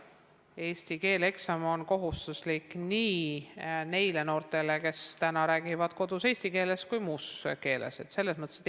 Eesti keele eksam on kohustuslik nii neile noortele, kes räägivad kodus eesti keeles, kui ka neile, kes räägivad muus keeles.